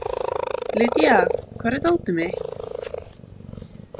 Lýdía, hvar er dótið mitt?